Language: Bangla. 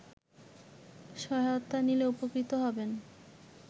সহায়তা নিলে উপকৃত হবেন